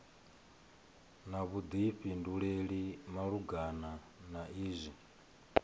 na vhuḓifhinduleli malugana na izwi